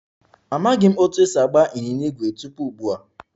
Amaghị m otú e si agba ịnyịnya ígwè tupu ugbu a